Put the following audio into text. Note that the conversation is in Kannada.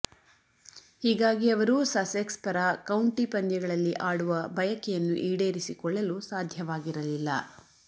ಹೀಗಾಗಿ ಅವರು ಸಸೆಕ್ಸ್ ಪರ ಕೌಂಟಿ ಪಂದ್ಯಗಳಲ್ಲಿ ಆಡುವ ಬಯಕೆಯನ್ನು ಈಡೇರಿಸಿಕೊಳ್ಳಲು ಸಾಧ್ಯವಾಗಿರಲಿಲ್ಲ